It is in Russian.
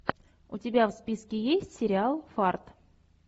у тебя в списке есть сериал фарт